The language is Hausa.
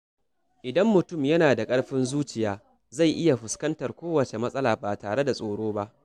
Idan mutum yana da ƙarfin zuciya, zai iya fuskantar kowace matsala ba tare da tsoro ba.